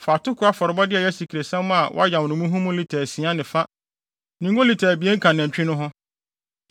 fa atoko afɔrebɔde a ɛyɛ asikresiam a wɔayam no muhumuhu lita asia ne fa ne ngo lita abien ka nantwi no ho